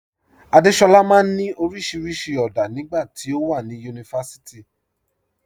Adéṣọla maa n ni oríṣiríṣi ọ̀dá nígbà tí o wà ní yunífásíìtì.